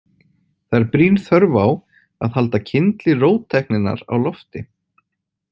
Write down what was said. Það er brýn þörf á að halda kyndli róttækninnar á lofti.